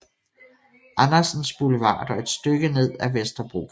Andersens Boulevard og et stykke ned ad Vesterbrogade